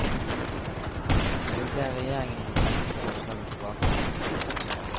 Vi vil be regjeringen om å trekke forslaget tilbake.